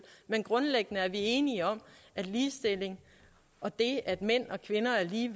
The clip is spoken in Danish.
men grundlæggende er vi enige om at ligestilling og det at mænd og kvinder er lige